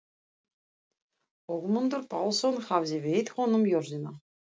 Ögmundur Pálsson hafði veitt honum jörðina.